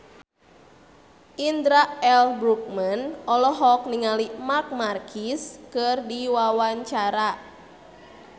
Indra L. Bruggman olohok ningali Marc Marquez keur diwawancara